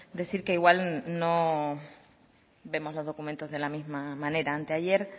decir que igual no vemos los documentos de la misma manera anteayer